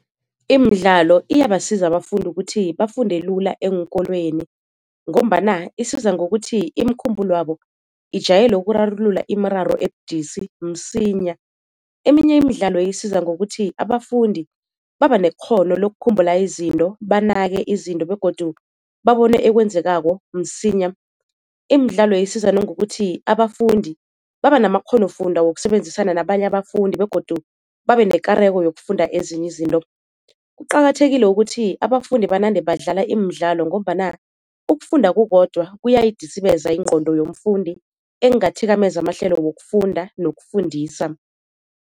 Imidlalo iyabasiza abafundi ukuthi bafunde lula eenkolweni, ngombana isiza ngokuthi imikhumbulo yabo ijayele ukurarulula imiraro ebudisi msinya. Eminye imidlalo isiza ngokuthi abafundi baba nekghono lokukhumbula izinto, banake izinto begodu babone ekwenzekako msinya. Imidlalo isiza nangokuthi abafundi baba namakghonofundwa wokusebenzisana nabanye abafundi begodu babe nekareko yokufunda ezinye izinto. Kuqakathekile ukuthi abafundi banande badlala imidlalo, ngombana ukufunda kukodwa kuyayidisibeza ingqondo yomfundi ekungathikameza amahlelo wokufunda nokufundisa.